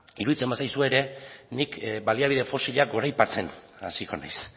iruditzen bazaizue ere nik baliabide fosilak goraipatzen hasiko naiz